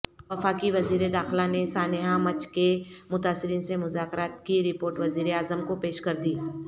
وفاقی وزیرداخلہ نے سانحہ مچھ کے متاثرین سےمذاکرات کی رپورٹ وزیراعظم کوپیش کردی